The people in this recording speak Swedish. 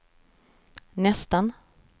nästan